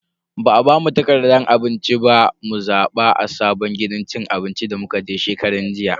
Ba a bamu takardan abinci ba mu zaba a sabon gidan cin abinci da muka je shekaran jiya.